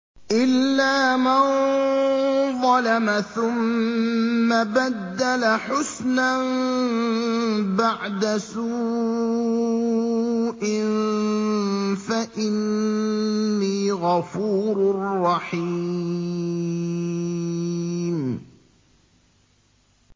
إِلَّا مَن ظَلَمَ ثُمَّ بَدَّلَ حُسْنًا بَعْدَ سُوءٍ فَإِنِّي غَفُورٌ رَّحِيمٌ